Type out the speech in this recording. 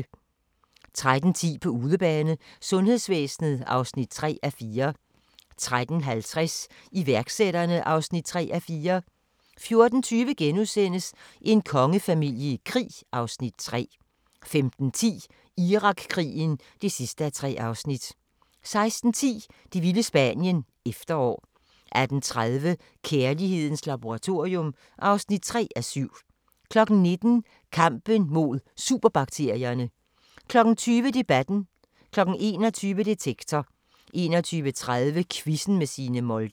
13:10: På udebane: Sundhedsvæsenet (3:4) 13:50: Iværksætterne (3:4) 14:20: En kongefamilie i krig (Afs. 3)* 15:10: Irakkrigen (3:3) 16:10: Det vilde Spanien – Efterår 18:30: Kærlighedens laboratorium (3:7) 19:00: Kampen mod superbakterierne 20:00: Debatten 21:00: Detektor 21:30: Quizzen med Signe Molde